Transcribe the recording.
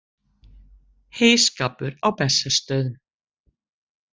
Heyskapur á Bessastöðum.